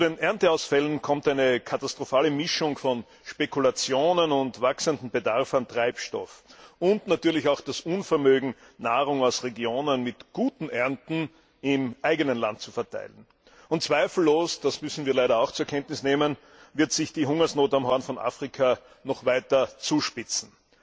Zu den Ernteausfällen kommt eine katastrophale Mischung aus Spekulationen und wachsendem Bedarf an Treibstoff und natürlich auch das Unvermögen, Nahrung aus Regionen mit guten Ernten im eigenen Land zu verteilen. Zweifellos das müssen wir leider auch zur Kenntnis nehmen wird sich die Hungersnot am Horn von Afrika noch weiter zuspitzen.